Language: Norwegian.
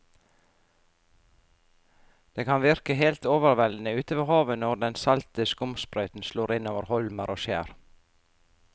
Det kan virke helt overveldende ute ved havet når den salte skumsprøyten slår innover holmer og skjær.